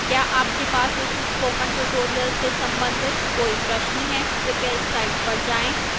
क्या आपके पास इस spoken tutorial से संबंधित कोई प्रश्न है कृपया इस साइट पर जाएं